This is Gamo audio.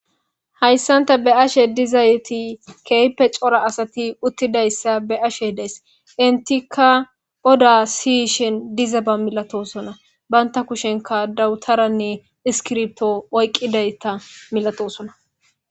hayssanta be'ashe dizayti kehpe cora asati uttidayssa be'ashe deys intikka oda siyishin dizaba milatosona banta kushenka dawutaranne iskirpto oyqqidayta milatosona